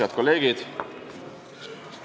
Head kolleegid!